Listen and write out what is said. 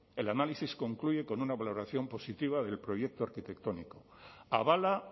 el análisis concluye con una valoración positiva del proyecto arquitectónico avala